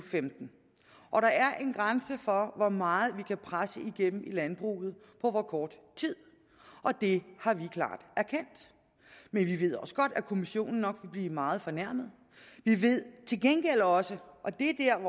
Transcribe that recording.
og femten og der er en grænse for hvor meget vi kan presse igennem i landbruget på hvor kort tid og det har vi klart erkendt men vi ved også godt at kommissionen nok vil blive meget fornærmet vi ved til gengæld også og det er